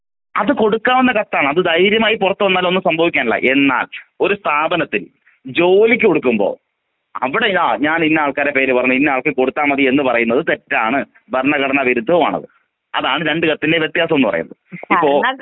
അത് കൊടുക്കാവുന്ന കത്താണ് അത് ധൈര്യമായി പുറത്ത് വന്നാലും ഒന്നും സംഭവിക്കില്ല.എന്നാൽ ഒരു സ്ഥാപനത്തിൽ ജോലിയ്ക്ക് കൊടുക്കുമ്പൊ അവിടെ ഞാനിഞ്ഞ ആൾക്കാരെ പേര് പറഞ്ഞ് ഇന്ന ആള്‍ക്ക് കൊടുത്താ മതി എന്ന് പറയുന്നത് തെറ്റാണ്.ഭരണഘടന വിരുദ്ധവുമാണ്.അതാണ് ആരണ്ട് കത്തിലേം വ്യത്യാസം ന്ന് പറയുന്നത് ഇപ്പോ.